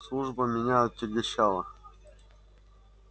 служба меня отягощала